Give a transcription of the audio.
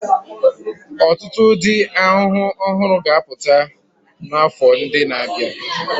Ọtụtụ ụdị ahụhụ ọhụrụ ga-apụta n'afọ ndị na-abịa.